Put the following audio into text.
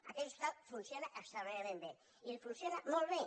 aquell hospital funciona extraordinàriament bé i funciona molt bé